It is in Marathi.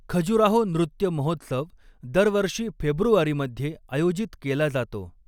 खजुराहो नृत्य महोत्सव दरवर्षी फेब्रुवारीमध्ये आयोजित केला जातो.